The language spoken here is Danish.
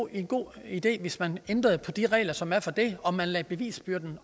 en god idé hvis man ændrede på de regler som er for det og man lagde bevisbyrden